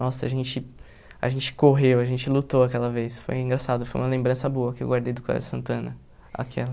Nossa, a gente a gente correu, a gente lutou aquela vez, foi engraçado, foi uma lembrança boa que eu guardei do Colégio Santana, aquela.